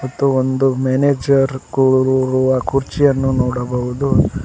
ಮತ್ತು ಒಂದು ಮ್ಯಾನೇಜರ್ ಕೂರುವ ಕುರ್ಚಿಯನ್ನು ನೋಡಬಹುದು.